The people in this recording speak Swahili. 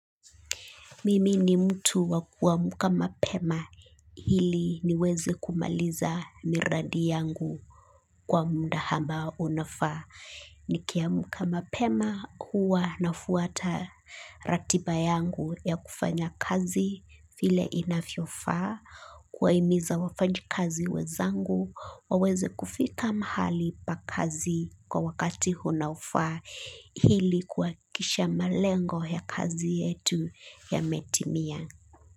Mimi ni mtu wakuwamuka mapema hili niweze kumaliza miradi yangu kwa munda ambao unafaa. Nikiamuka mapema huwa nafuata ratiba yangu ya kufanya kazi file inafiofa, kuwaimiza wafanyikazi wezangu, waweze kufika mahali pakazi kwa wakati unaofaa hili kuakikisha malengo ya kazi yetu yametimia.